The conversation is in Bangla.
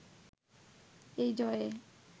এই জয়ে